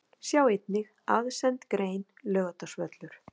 Sjá einnig: Aðsend grein: Laugardalsvöllur